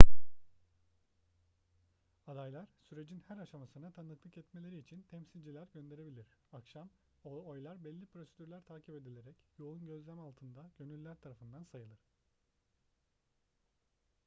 adaylar sürecin her aşamasına tanıklık etmeleri için temsilciler gönderebilir akşam oylar belli prosedürler takip edilerek yoğun gözlem altında gönüllüler tarafından sayılır